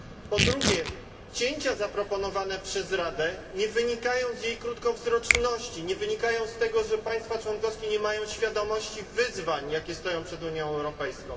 Po drugie, cięcia zaproponowane przez Radę nie wynikają z jej krótkowzroczności, nie wynikają z tego, że państwa członkowskie nie mają świadomości wyzwań, jakie stoją przed Unią Europejską.